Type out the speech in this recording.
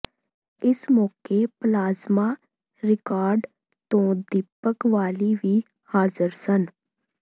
ਇਸ ਮੌਕੇ plasma record ਤੋਂ ਦੀਪਕ ਬਾਲੀ ਵੀ ਹਾਜ਼ਰ ਸਨ